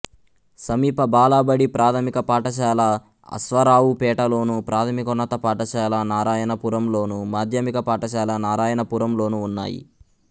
సమీప బాలబడి ప్రాథమిక పాఠశాల అశ్వారావుపేటలోను ప్రాథమికోన్నత పాఠశాల నారాయణపురంలోను మాధ్యమిక పాఠశాల నారాయణపురంలోనూ ఉన్నాయి